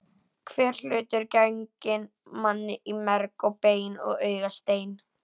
Hver hlutur genginn manni í merg og bein og augastein.